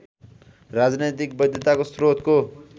राजनैतिक वैधताको स्रोतको